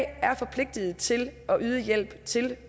er forpligtiget til at yde hjælp til